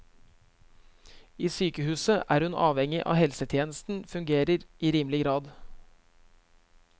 I sykehuset er hun avhengig av at helsetjenesten fungerer i rimelig grad.